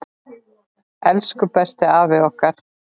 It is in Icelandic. Elsku besti afi okkar!